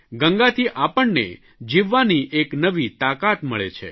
ગંગાથી આપણને જીવવાની એક નવી તાકાત મળે છે